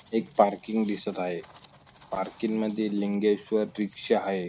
एक पार्किंग दिसत आहे पार्किंग मध्ये लिंगेश्वर रिक्षा आहे.